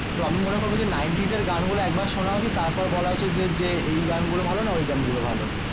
তো আমি মনে করবো যে নাইন্টিজের গান গুলো একবার শোনা উচিত তার পর বলা উচিত যে যে এই গান গুলো ভালো না ওই গান গুলো ভালো